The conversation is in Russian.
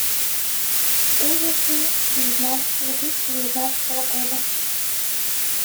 ужасы две тысячи девятнадцатого года